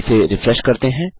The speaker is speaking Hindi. इसे रिफ्रेश करते हैं